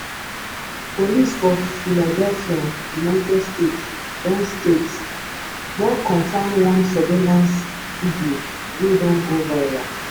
police for philadelphia united states don states don confam one surveillance video wey don go viral